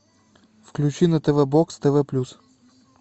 включи на тв бокс тв плюс